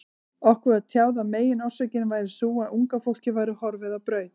Okkur var tjáð að meginorsökin væri sú, að unga fólkið væri horfið á braut.